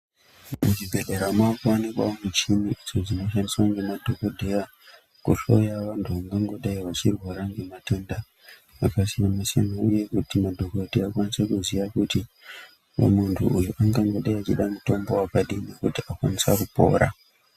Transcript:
Muzvibhedhlera makuwanikwawo muchini inoshandiswa ngemadhogodheya kuhloya vantu vangangodai vachirwara ngematenda akasiyana-siyana uye kuti madhogodheya akwanise kuziya kuti muntu uyu angangode echida mutombo wakadini kuti akwanise kupora.